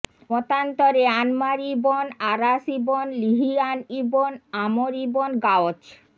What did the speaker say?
মতান্তরে আনমার ইব্ন আরাশ ইব্ন লিহিয়ান ইব্ন আমর ইব্ন গাওছ